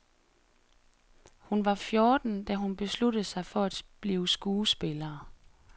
Hun var fjorten, da hun besluttede sig for at blive skuespiller.